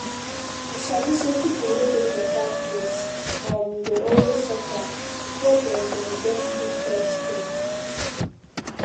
you sabi say people wey dey for far place um dey always suffer before dem dem get quick health care